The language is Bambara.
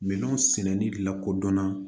Minɛnw sɛnɛni lakodɔnna